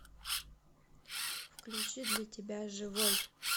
включи для тебя живой